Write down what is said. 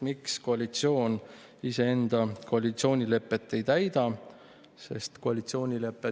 Miks koalitsioon iseenda koalitsioonilepet ei täida?